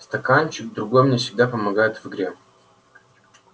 стаканчик другой мне всегда помогает в игре